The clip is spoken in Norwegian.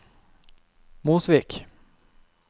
Mosvik